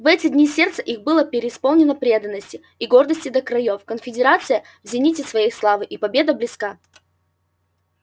в эти дни сердца их были преисполнены преданности и гордости до краёв конфедерация в зените своей славы и победа близка